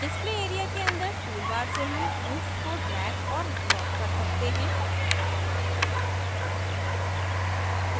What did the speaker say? display area के अंदर toolbar से हम tools को drag और drop कर सकते हैं